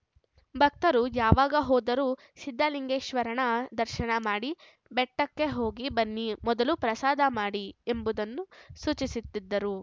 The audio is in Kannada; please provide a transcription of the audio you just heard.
ಭಕ್ತರು ಯಾವಾಗ ಹೋದರೂ ಸಿದ್ದಲಿಂಗೇಶ್ವರನ ದರ್ಶನ ಮಾಡಿ ಬೆಟ್ಟಕ್ಕೆ ಹೋಗಿ ಬನ್ನಿ ಮೊದಲು ಪ್ರಸಾದ ಮಾಡಿ ಎಂಬುದನ್ನು ಸೂಚಿಸುತ್ತಿದ್ದರು